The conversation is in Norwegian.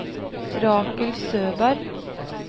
Rakel Søberg